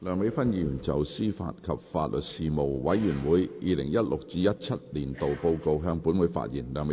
梁美芬議員就"司法及法律事務委員會 2016-2017 年度報告"向本會發言。